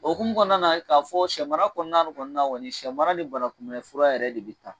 O hukumu kɔnɔna la k'a fɔ sɛ mara kɔnɔna kɔnni na, sɛ mara de ni banakunbɛnli fura de bɛ taa.